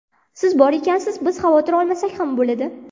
Siz bor ekansiz, biz xavotir olmasak ham bo‘ladi.